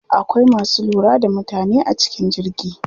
Akwai masu lura da mutane a cikin jirgi.